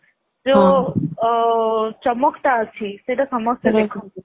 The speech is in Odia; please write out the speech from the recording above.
ଯୋଉ ଚମକଟା ଅଛି ସେଇଟା ସମସ୍ତେ ଦେଖନ୍ତୁ